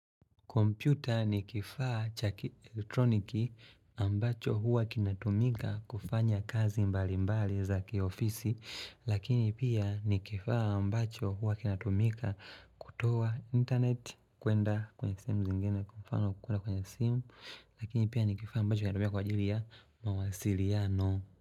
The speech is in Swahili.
Kompyuta ni kifaa cha elektroniki ambacho huwa kinatumika kufanya kazi mbali mbali za kiofisi lakini pia ni kifaa ambacho huwa kinatumika kutoa internet kuenda kwenye simu zingine kwa mfano kwenye simu lakini pia ni kifaa ambacho huwa kinatumika kwa jili ya mawasiliano.